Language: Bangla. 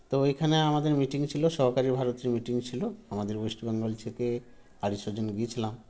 তো এখানে আমাদের meeting ছিল সহকারী ভারতীয় meeting ছিল আমাদের West Bengal থেকে আরি ছজন গিয়েছিলাম